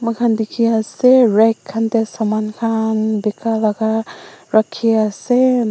moikhan dikhi ase red khan teh saman khan bikha laga rakhi ase.